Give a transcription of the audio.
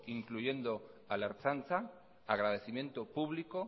incluyendo a la ertzaintza agradecimiento público